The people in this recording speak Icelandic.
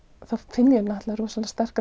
finn ég náttúrulega rosalega sterka